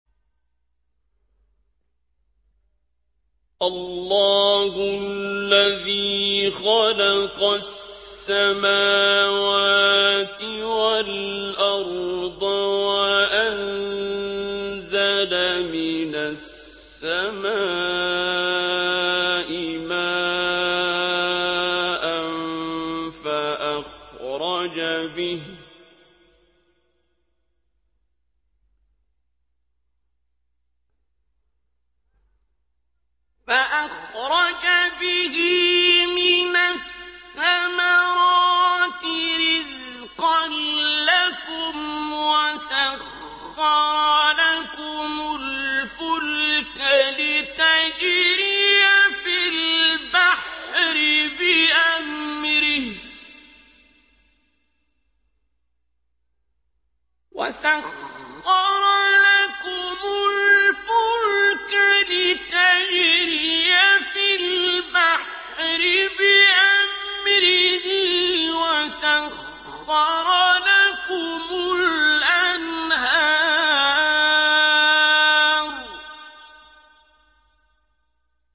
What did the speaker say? اللَّهُ الَّذِي خَلَقَ السَّمَاوَاتِ وَالْأَرْضَ وَأَنزَلَ مِنَ السَّمَاءِ مَاءً فَأَخْرَجَ بِهِ مِنَ الثَّمَرَاتِ رِزْقًا لَّكُمْ ۖ وَسَخَّرَ لَكُمُ الْفُلْكَ لِتَجْرِيَ فِي الْبَحْرِ بِأَمْرِهِ ۖ وَسَخَّرَ لَكُمُ الْأَنْهَارَ